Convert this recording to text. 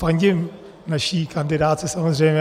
Fandím naší kandidátce samozřejmě.